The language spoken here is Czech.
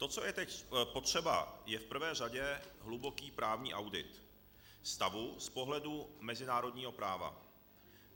To co je teď potřeba, je v prvé řadě hluboký právní audit stavu z pohledu mezinárodního práva.